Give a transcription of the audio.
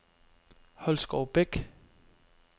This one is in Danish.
Holskovbæk